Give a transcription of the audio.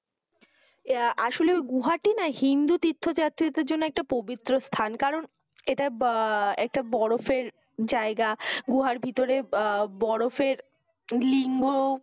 ইয়ে আসলে গুহাটি না হিন্দু তীর্থযাত্রীদের জন্য একটি পবিত্র স্থান। কারণ এটা বরফের জায়গা। গুহার ভিতরে বরফের লিঙ্গ